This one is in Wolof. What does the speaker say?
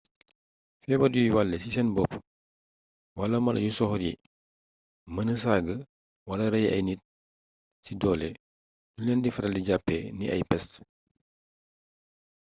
feebar yuy wàllé ci seen bopp wala mala yu soxor yi mëna saaga wala rey ay nit ci doole duñ leen di faral di jàppee ni ay pest